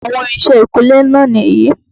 Àwọn irinṣẹ́ ìkúnlé náà nìyí.